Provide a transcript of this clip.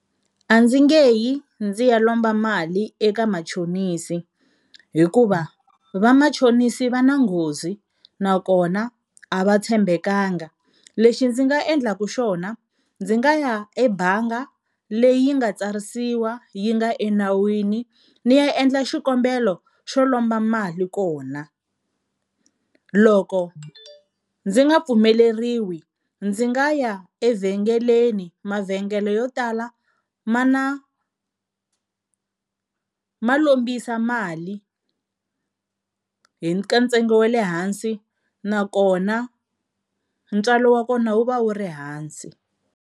A ndzi nge yi ndzi ya lomba mali eka machonisi, hikuva vamachonisi va na nghozi nakona a va tshembekanga. Lexi ndzi nga endlaku xona ndzi nga ya ebangi leyi nga tsarisiwa yi nga enawini ni ya endla xikombelo xo lomba mali kona. Loko ndzi nga pfumeleriwi ndzi nga ya evhengeleni mavhengele yo tala ma na ma lombisa mali hi ka ntsengo wa le hansi nakona ntswalo wa kona wu va wu ri hansi.